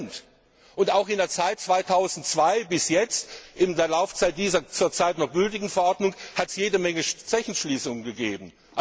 10 Und auch in der Zeit von 2002 bis jetzt, in der Laufzeit dieser zur Zeit noch gültigen Verordnung, hat es jede Menge Zechenschließungen gegeben.